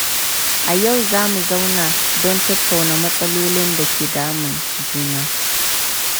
A yau, za mu zauna don tattauna matsalolin da ke damun juna.